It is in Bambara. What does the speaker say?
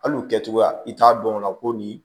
Hali u kɛcogoya i t'a dɔn ko nin